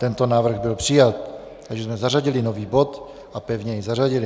Tento návrh byl přijat, takže jsme zařadili nový bod a pevně jej zařadili.